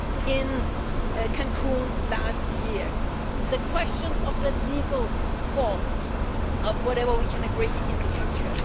in Cancun last year the question of the legal form of whatever we can agree in the future.